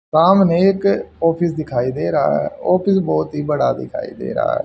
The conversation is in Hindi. सामने एक ऑफिस दिखाई दे रहा है ऑफिस बहोत ही बड़ा दिखाई दे रहा है।